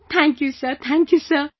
Thank you sir, thank you sir